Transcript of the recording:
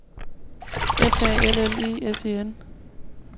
F A L L E S E N